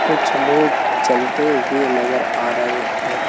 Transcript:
कुछ लोग चलते हुए नजर आ रहे हैं।